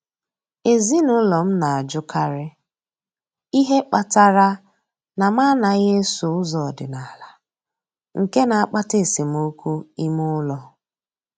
Ezinụlọ m na-ajụkarị ihe kpatara na m anaghị eso ụzọ ọdịnala, nke na-akpata esemokwu ime ụlọ.